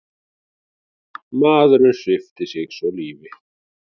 Maðurinn svipti sig svo lífi.